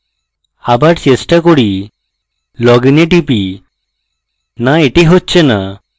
আবার চেষ্টা করি loginএ টিপি no এটি হচ্ছে no